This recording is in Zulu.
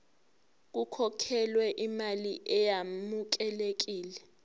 kukhokhelwe imali eyamukelekile